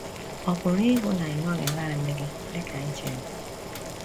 Ọ̀ pụrụ ịbụ na ị nọghị nanị gị dị ka i chere?